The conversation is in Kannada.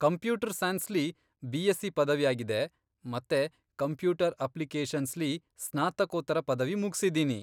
ಕಂಪ್ಯೂಟರ್ ಸೈನ್ಸ್ಲಿ ಬಿಎಸ್ಸಿ ಪದವಿ ಆಗಿದೆ ಮತ್ತೆ ಕಂಪ್ಯೂಟರ್ ಅಪ್ಲಿಕೇಷನ್ಸ್ಲಿ ಸ್ನಾತಕೋತ್ತರ ಪದವಿ ಮುಗ್ಸಿದ್ದೀನಿ.